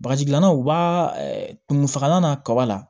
Bakaji gilannaw b'a kin fagalan n'a kaba la